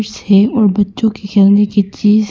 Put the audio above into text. दृश्य है बच्चों के खेलने की चीज--